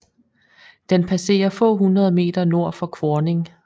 Den passerer få hundrede meter nord for Kvorning